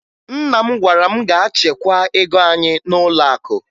Nna m gwara m jee chekwaa ego anyị n'ụlọakụ